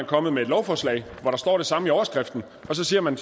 kommet med et lovforslag hvor der står det samme i overskriften og så siger man